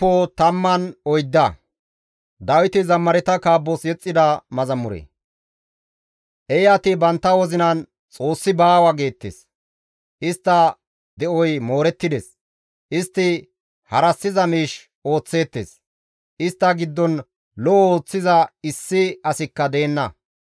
Eeyati bantta wozinan, «Xoossi baawa» geettes; istta de7oy moorettides; istti harassiza miish ooththeettes; istta giddon lo7o ooththiza issi asikka deenna.